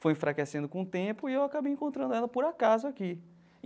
Foi enfraquecendo com o tempo e eu acabei encontrando ela por acaso aqui.